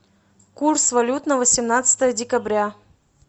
курс валют на восемнадцатое декабря